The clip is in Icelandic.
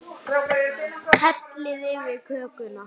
Hellið yfir kökuna.